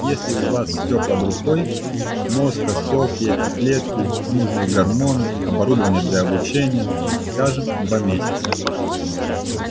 если у вас все под рукой мозг остов яйцеклетки нужные гормоны оборудование для облучения скажем два месяца